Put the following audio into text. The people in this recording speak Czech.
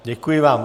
Děkuji vám.